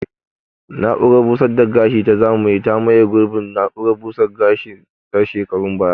Na'urar busar da gashi ta zamani ta maye gurbin na'urar busar da gashi ta shekarun baya